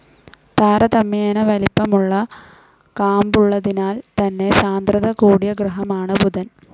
താരതമ്യേന വലിപ്പമുള്ള കാമ്പുള്ളതിനാൽ തന്നെ സാന്ദ്രത കൂടിയ ഗ്രഹമാണ് ബുധൻ.